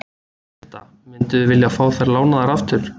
Birta: Mynduð þið vilja fá þær lánaðar aftur?